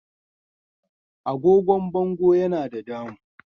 Agogon bango Yana da damuu.